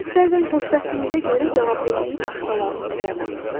Siz bəzən xoşbəxtliyinizə görə cavabdehliyi başqalarının üzərinə atırsız.